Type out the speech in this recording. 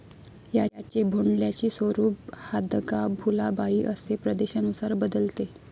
याचे भोंडल्याची स्वरूप हादगा, भुलाबाई असे प्रदेशानुसार बदलते..